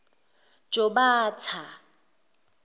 jobatha